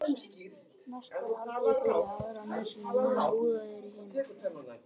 Næst er haldið fyrir aðra nösina á meðan úðað er í hina.